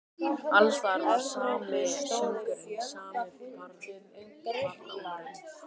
Alls staðar var sami söngurinn, sami barlómurinn.